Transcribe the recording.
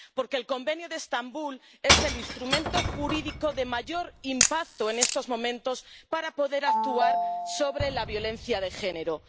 Porque el Convenio de Estambul es el instrumento jurídico de mayor impacto en estos momentos para poder actuar sobre la violencia de género.